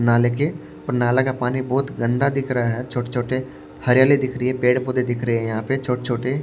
नाले के और नाला का पानी बहुत गंदा दिख रहा है छोटे-छोटे हरियाली दिख रही है पेड़-पौधे दिख रहे हैं यहां पे छोटे-छोटे--